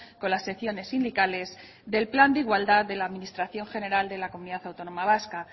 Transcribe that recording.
con las secciones sindicales del plan de igualdad de la administración general de la comunidad autónoma vasca